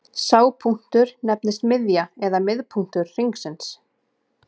Sá punktur nefnist miðja eða miðpunktur hringsins.